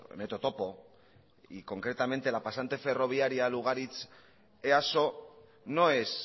metro topo y concretamente la pasante ferroviaria lugaritz easo no es